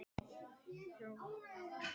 Ég varð að komast í burtu.